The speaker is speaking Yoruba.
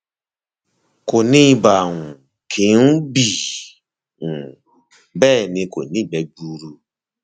kò ní ibà um kì í um bì um bẹẹ ni kò ní ìgbẹ gbuuru